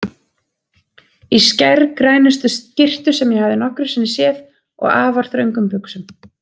Í skærgrænustu skyrtu sem ég hafði nokkru sinni séð og afar þröngum buxum.